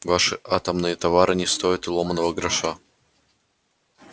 ваши атомные товары не стоят и ломаного гроша